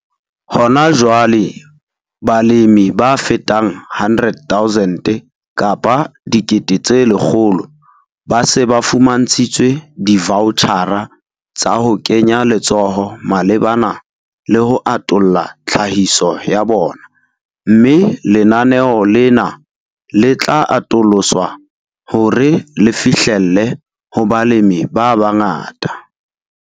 Hona jwale, balemi ba fetang 100 000 ba se ba fumantshitswe divoutjhara tsa ho kenya letsoho malebana le ho atolla tlhahiso ya bona, mme lenaneo lena le tla atoloswa hore le fihlelle ho balemi ba bangata.